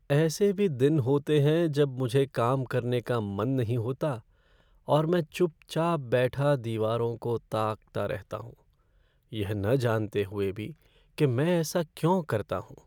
ऐसे भी दिन होते हैं जब मुझे काम करने का मन नहीं होता और मैं चुपचाप बैठा दीवारों को ताकता रहता हूँ, यह न जानते हुए भी कि मैं ऐसा क्यों करता हूँ।